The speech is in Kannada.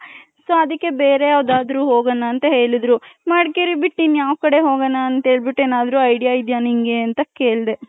so ಅದೀಕೆ ಬೇರೆ ಯಾವ್ದಾದ್ರು ಹೋಗೋಣ ಅಂತ ಹೇಳಿದ್ರು ಮಡಕೇರಿ ಬಿಟ್ಟ ಇನ್ ಯಾವ್ ಕಡೆ ಹೋಗಣ ಅಂತ ಹೇಳ್ಬಿಟ್ಟು ಏನಾದ್ರು idea ಇದ್ಯ ನಿಂಗೆ ಅಂತ ಕೇಳ್ದೆ .